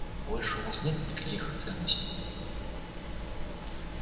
больше у вас нет никаких ценностей